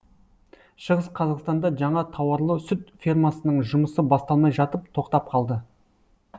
шығыс қазақстанда жаңа тауарлы сүт фермасының жұмысы басталмай жатып тоқтап қалды